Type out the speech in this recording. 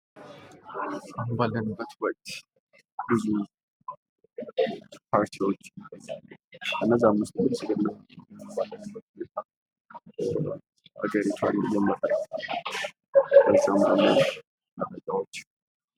አሁን ባለንበት ወቅት ብዙ ፓርቲዎች ከእነዚያም ዉስጥ ብልፅግና አሁን ባለንበት ሁኔታ አገሪቷን እየመራ መረጃዎች ....